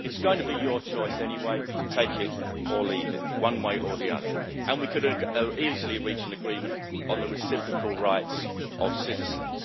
It's going to be your choice anyway take it or leave it, one way or the other. And we could easily reach an agreement on the reciprocal rights of citizens.